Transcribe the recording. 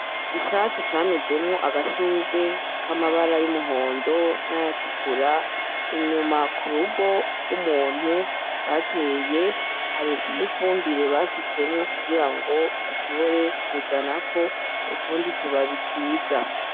Ivyatsi camezemwo agashurwe k'amabara y'umuhondo n'ayatukura inyuma ku rugo rw'umuntu bateye, hari n'ifumbire basutsemwo kugira ngo bashobore kuzanako utundi tubabi twiza.